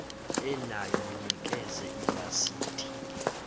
enayo mnikeze ilasidi